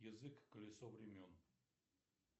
язык колесо времен